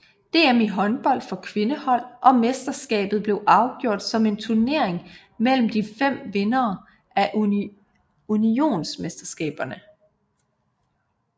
DM i håndbold for kvindehold og mesterskabet blev afgjort som en turnering mellem de fem vindere af unionsmesterskaberne